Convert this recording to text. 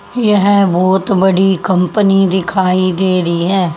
येह बोहत बड़ी कंपनी दिखाई दे री है।